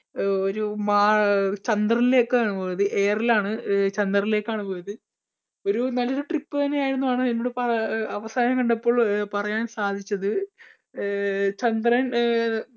ഒരു മാ ചന്ദ്രനിലെക്കാണ് പോയത് air ലാണ് ചന്ദ്രനിലേക്കാണ് പോയത്. ഒരു നല്ലൊരു trip തന്നെ ആയെന്നാണ് എന്നോട് അവസാനം കണ്ടപ്പോൾ പറയാൻ സാധിച്ചത്. അഹ് ചന്ദ്രൻ അഹ്